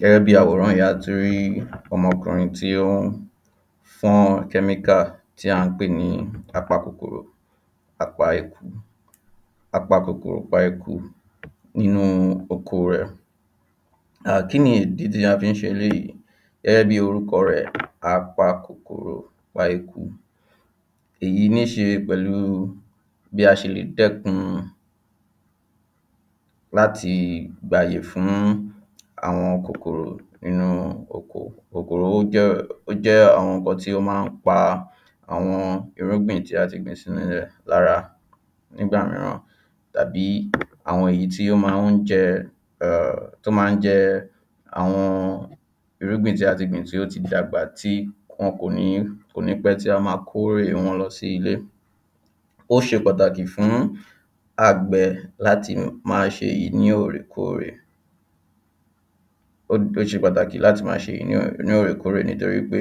Gẹ́gẹ́ bí i àwòrán yìí a tún rí ọmọkùnrin tí ó ń fọ́n ọ́n kẹ́míkà tí à ń pè ní a pa kòkòrò a pa eku a-pa-kòkòrò-pa-eku inú oko rẹ̀ ahh Kíni ìdí tí a fi ń ṣe eléyìí Gẹ́gẹ́ bí orúkọ rẹ̀ a-pa-kòkòrò-pa-eku èyí ní ṣe pẹ̀lú u bí a ṣe lè dẹ́kun láti gbàyè fún ún àwọn kòkòrò nínú oko Kòkòrò ó jẹ́ ó jẹ́ àwọn nǹkan tí ó ma ń pa àwọn irúgbìn tí a gbìn sínú ilẹ̀ lára nígbà mìíràn tàbí àwọn èyí tí ó máa ń jẹ ẹ [ehn] tó máa ń jẹ́ àwọn irúgbìn tí a ti gbìn tí ó ti dàgbà tí wọn kò ní pẹ́ tí a ma kórè wọn lọ sí ilé Ó ṣe pàtàkì fún ún agbẹ láti máa ṣe èyí ní òrèkórèè ó ṣe pàtàkì láti máa ṣe èyí ní òrèkórèè nítorí pé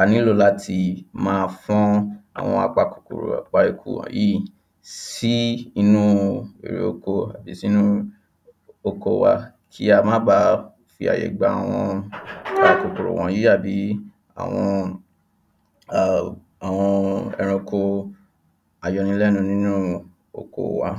a ní lò láti máa fọ́n àwọn apakòkòrò pa-eku wọ̀nyìí sí inú èrè oko àbí sí inú oko wa kí á máa ba à fi àyè gba àwọn àwọn kòkòrò wọ̀nyìí àbí àwọn ehm àwọn ẹranko ayọnilẹ́nu nínú oko wa